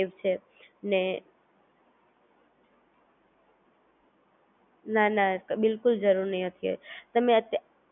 ઈસીલિ Google Pay થી Online payment કરી શકો છો,